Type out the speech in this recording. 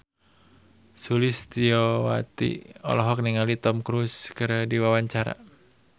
Sulistyowati olohok ningali Tom Cruise keur diwawancara